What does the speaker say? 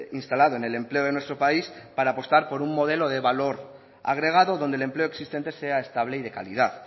instalado en el empleo de nuestro país para apostar por un modelo de valor agregado donde el empleo existente sea estable y de calidad